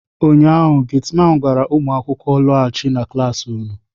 ụnyaahụ, Getiman gwara ụmụ akwụkwọ, laghachienu na klas unu!